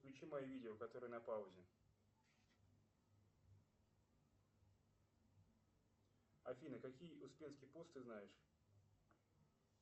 включи мое видео которое на паузе афина какие успенский пост ты знаешь